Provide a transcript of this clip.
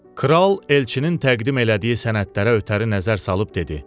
Kral elçinin təqdim elədiyi sənədlərə ötəri nəzər salıb dedi: